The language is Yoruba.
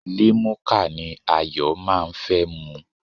Limuka ni Ayọ̀ máa ń fẹ́ mu.